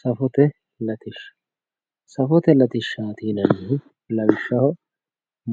Safote latishsha Safote latishshaati yinannihu lawishshaho